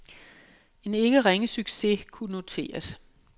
En ikke ringe succes kunne noteres.